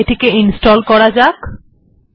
এটি ইনস্টল করা যাক